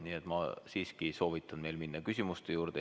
Nii et ma soovitan teil minna küsimuste juurde.